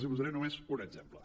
els posaré només un exemple